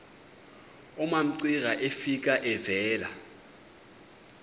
umamcira efika evela